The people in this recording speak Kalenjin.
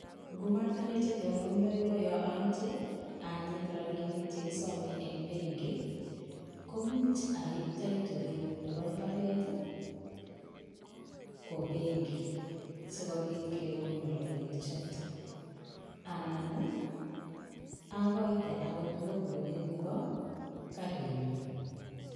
Ngomatinyee chetonondaiwaaaai komuch awaa pengii ak akaitee logbukit nepo karin nyuun